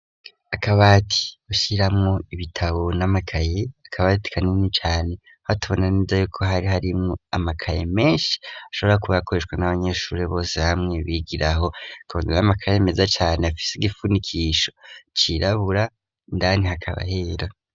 Akabati ashyiramwo ibitabo n'amakaye akabati kanini cyane hatubona neza yoko hari harimo amakaye menshi ashobora kubaakoreshwa n'abanyeshuri bose hamwe bigira aho akabondir'amakaye meza cyane afise igifunikisho irabura indani hakaba hera.